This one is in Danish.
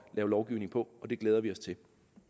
lave lovgivning på og det glæder vi os til